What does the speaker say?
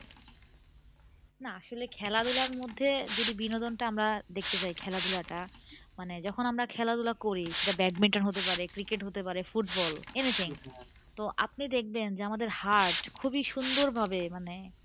না আসলে খেলাধুলার মধ্যে যদি বিনোদনটা আমরা দেখতে যাই খেলাধুলাটা মানে যখন আমরা খেলাধুলা করি সেটা badminton হতে পারে cricket হতে পারে football anything তো আপনি দেখবেন যে আমাদের heart খুবই সুন্দর ভাবে মানে